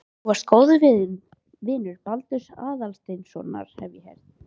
Þú varst góður vinur Baldurs Aðalsteinssonar, hef ég heyrt